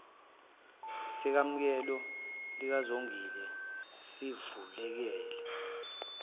sekamelo likazongile sivuleka